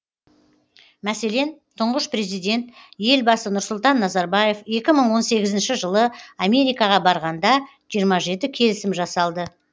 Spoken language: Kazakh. мәселен тұңғыш президент елбасы нұрсұлтан назарбаев екі мың он сегізінші жылы америкаға барғанда жиырма жеті келісім жасалды